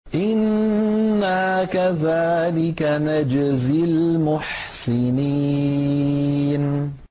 إِنَّا كَذَٰلِكَ نَجْزِي الْمُحْسِنِينَ